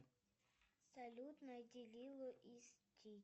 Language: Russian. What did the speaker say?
грузовичок